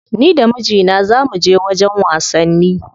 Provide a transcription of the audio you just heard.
Ni da mijina za muje wajen wasanni.